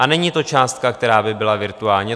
A není to částka, která by byla virtuální.